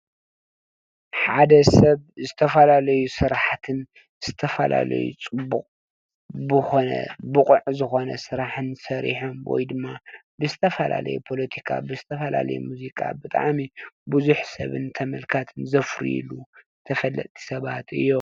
ሓደ ሰብ ዝተፈላለዩ ስራሕትን ዝተፈላለዩ ፅቡቅ ኮነ ቡቅዕ ዝኮነ ስራሕን ሰሪሖም ወይ ድማ ብዝተፈላለየ ፖለቲካ ብዝተፈላለዩ ሙዚቃን ብጣዕሚ ቡዝሕ ሰብን ተመልካቲን ዘፍሩይን ተፈለጥቲ ሰባት እዮም፡፡